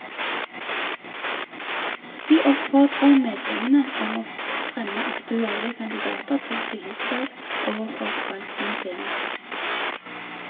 Vi oppfordrer medlemmene om å fremme aktuelle kandidater til tillitsverv overfor valgkomitéen.